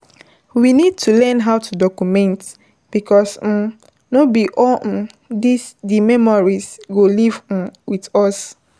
We need to learn how to document because um no be all um di memories go live um with us